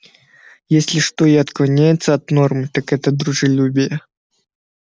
если что и отклоняется от нормы так это дружелюбие